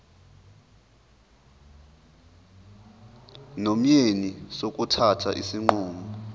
nomyeni sokuthatha isinqumo